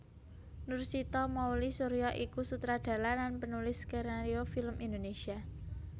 Nursita Mouly Surya iku sutradara lan penulis skenario film Indonesia